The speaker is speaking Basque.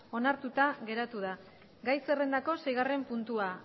onartuta geratu da gai zerrendako seigarren puntua